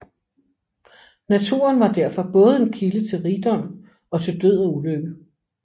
Naturen var derfor både en kilde til rigdom og til død og ulykke